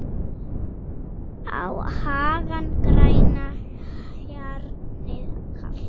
á hagann grænan, hjarnið kalt